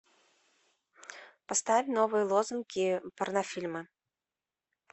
поставь новые лозунги порнофильмы